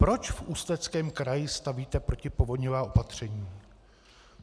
Proč v Ústeckém kraji stavíte protipovodňová opatření?